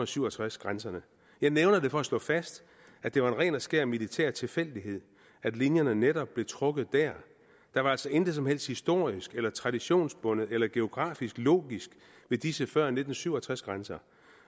syv og tres grænserne jeg nævner det for at slå fast at det var en ren og skær militær tilfældighed at linjerne netop blev trukket dér der var altså intet som helst historisk eller traditionsbundet eller geografisk logisk ved disse før nitten syv og tres grænser